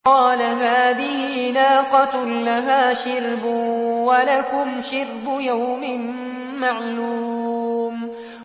قَالَ هَٰذِهِ نَاقَةٌ لَّهَا شِرْبٌ وَلَكُمْ شِرْبُ يَوْمٍ مَّعْلُومٍ